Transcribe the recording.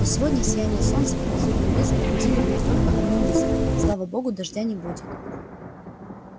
но сегодня сияние солнца и лазурь небес пробудили в ней только одну мысль слава богу дождя не будет